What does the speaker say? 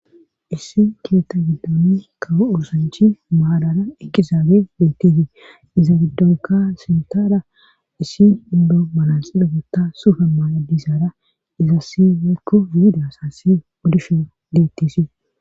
issi keeta giddoni kawo usanchi maadara ekkizaabe beettetii dizaabidonka sintara issi indo malasidagota sufe mala dizaara izassieekku biida asasi wodishe deettisii